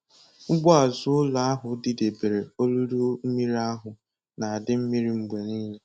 Ugbo azụ ụlọ ahụ didebere olulu mmiri ahụ na-adị mmiri mgbe niile.